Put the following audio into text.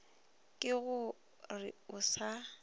ke go re o sa